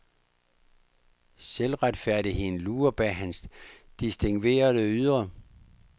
Selvretfærdigheden lurer bag hans distingverede ydre.